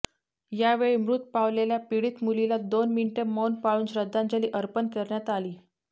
या वेळी मृत पावलेल्या पीडित मुलीला दोन मिनिटं मौन पाळून श्रद्धांजली अर्पण करण्यात आली